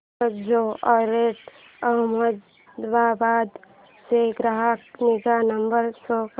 Carzonrent Ahmedabad चा ग्राहक निगा नंबर शो कर